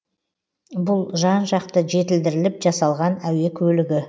бұл жан жақты жетілдіріліп жасалған әуе көлігі